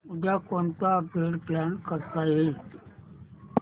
उद्या कोणतं upgrade plan करता येईल